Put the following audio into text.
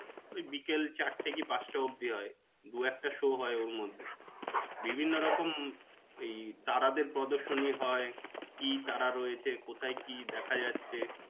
ওই বিকাল চারটে কি পাচটা অবধি হয়. দু একটা show হয় ওর মধ্যে. বিভিন্ন রকম ওই তারাদের প্রদর্শনী হয়. কি তারা রয়েছে কোথায় কি দেখা যাচ্ছে,